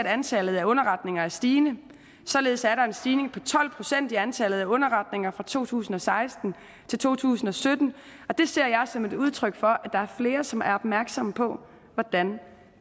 at antallet af underretninger er stigende således er der en stigning på tolv procent i antallet af underretninger fra to tusind og seksten til to tusind og sytten og det ser jeg som et udtryk for at der er flere som er opmærksomme på hvordan